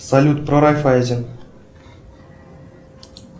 салют про райффайзен